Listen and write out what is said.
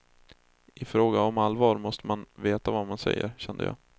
I fråga om allvar måste man veta vad man säger, kände jag.